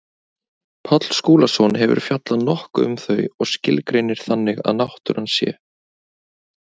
Páll Skúlason hefur fjallað nokkuð um þau og skilgreinir þannig að náttúran sé.